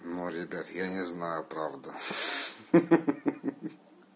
ну ребята я не знаю правда ха ха